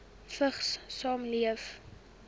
vigs saamleef